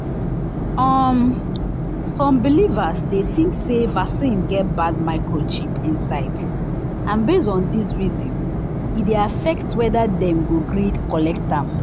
um some believers dey think say vaccine get bad microchip inside and base on this reason e dey affect whether dem go gree collect am.